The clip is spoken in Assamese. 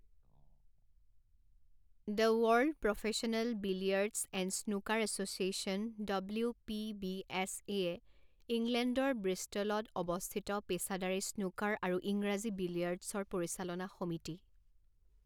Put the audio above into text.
The world professional billiards and snooker association W P B S এয়ে ইংলেণ্ডৰ ব্ৰিষ্টলত অৱস্থিত পেচাদাৰী স্নুকাৰ আৰু ইংৰাজী বিলিয়াৰ্ডছৰ পৰিচালনা সমিতি।